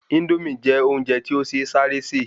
Índómì jẹ́ óúnje ti o se sáré se